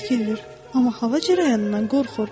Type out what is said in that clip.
Bitkidir, amma hava cərəyanından qorxur.